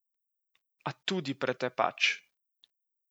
A tudi pretepač.